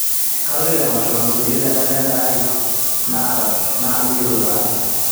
kaloito emasho nasuju te kalenda aai na tujuto taa